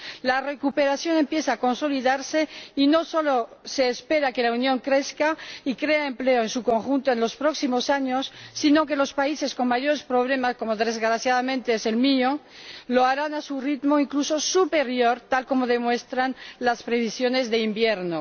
La recuperación empieza a consolidarse y no solo se espera que la Unión crezca y cree empleo en su conjunto en los próximos años, sino que los países con mayores problemas, como desgraciadamente es el mío, lo hagan a un ritmo incluso superior, tal y como demuestran las previsiones de invierno.